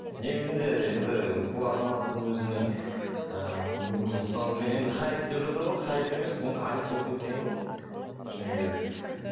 негізінде енді бұл азаматтың өзінің ііі мүмкін енді хайп деп жатыр ғой хайп емес бұнікі айып болып кеткен ғой шыны керек